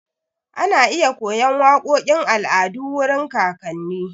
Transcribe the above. Ana iya koyan waƙoƙin al'adu wurin kakanni.